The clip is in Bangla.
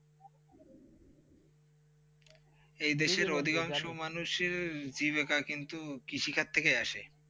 যেই দেশে অধিকাংশ মানুষের জীবিকা কিন্তু কৃষি কাজ থেকে আসে.